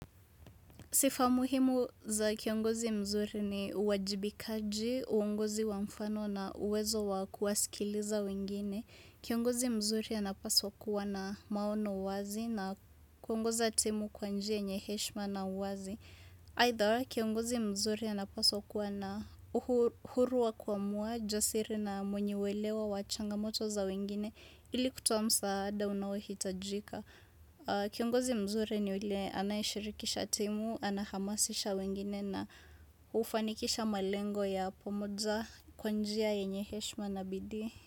Sifa muhimu za kiongozi mzuri ni uwajibikaji, uongozi wa mfano na uwezo wa kuwasikiliza wengine. Kiongozi mzuri anapaswa kuwa na maono wazi na kuongoza timu kwanjia yenye heshma na uwazi. Aidha kiongozi mzuri anapaswa kuwa na uhu huru wa kuamua, jasiri na mwenye uelewo, wachanga moto za wengine, ili kutoa msaada unaohitajika. Kiongozi mzuri ni ule anayeshirikisha timu, anahamasisha wengine na ufanikisha malengo ya pomoja kwa njia yenye heshma na bidii.